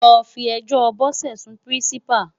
Lò fi èjò Bose sún Pirinsipá